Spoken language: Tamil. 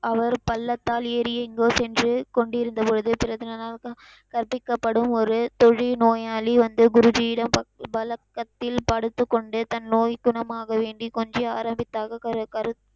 அவர் பல்லக்கால் ஏறி எங்கோ சென்று கொண்டிருந்தபொழுது கற்பிக்கப்படும் ஒரு தொழுநோயாளி வந்து குருஜியிடம் பலக் கத்தில் படுத்துக்கொண்டு தன் நோய் குணமாக வேண்டி கொஞ்சி ஆறாதித்தாக கருத்